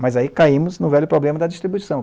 Mas aí caímos no velho problema da distribuição.